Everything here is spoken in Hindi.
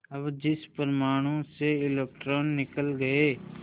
अब जिस परमाणु से इलेक्ट्रॉन निकल गए